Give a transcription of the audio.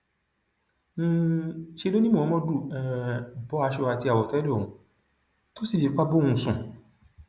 um ṣe ló ni muhammadu um bọ aṣọ àti àwọtẹlẹ òun tó sì fipá bá òun sùn